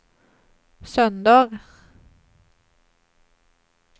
söndag